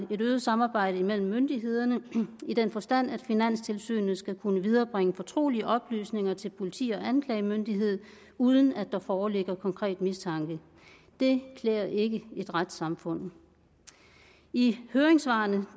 øget samarbejde mellem myndighederne i den forstand at finanstilsynet skal kunne viderebringe fortrolige oplysninger til politi og anklagemyndighed uden at der foreligger konkret mistanke det klæder ikke et retssamfund i høringssvarene